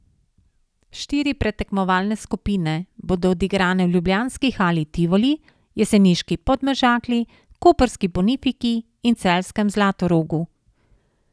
Štiri predtekmovalne skupine bodo odigrane v ljubljanski hali Tivoli, jeseniški Podmežakli, koprski Bonifiki in celjskem Zlatorogu.